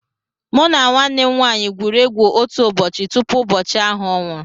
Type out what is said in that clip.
Mụ na nwanne nwaanyị gwuru egwu otu ụbọchị tupu ụbọchị ahụ ọ nwụrụ